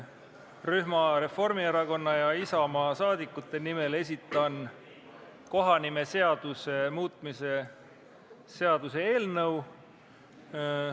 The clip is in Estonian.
Rühma Reformierakonna ja Isamaa saadikute nimel esitan kohanimeseaduse muutmise seaduse eelnõu.